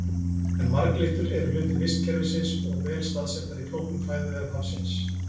En marglyttur eru hluti vistkerfisins og vel staðsettar í flóknum fæðuvef hafsins.